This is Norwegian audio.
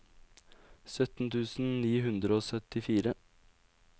sytten tusen ni hundre og syttifire